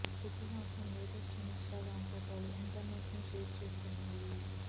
శృతి Haasan latest Instagram ఫోటోలు internet ని shake చేస్తున్నాయి